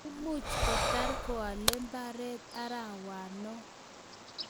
Imuch kotar koale mbaret arawno